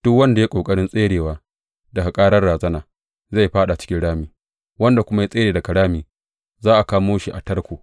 Duk wanda ya yi ƙoƙarin tserewa daga ƙarar razana zai fāɗa cikin rami; wanda kuma ya tsere daga rami za a kama shi a tarko.